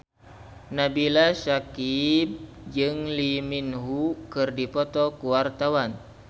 Nabila Syakieb jeung Lee Min Ho keur dipoto ku wartawan